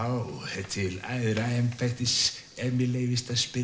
til æðra embættis ef mér leyfist að spyrja